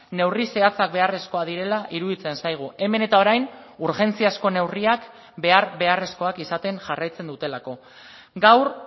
neurri zehatzak beharrezkoak direla iruditzen zaigu hemen eta orain urgentziazko neurriak behar beharrezkoak izaten jarraitzen dutelako gaur